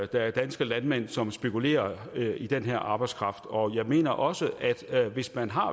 der er danske landmænd som spekulerer i den her arbejdskraft og jeg mener også at hvis man har